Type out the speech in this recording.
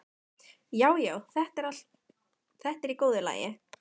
Já, já, þetta er í góðu lagi.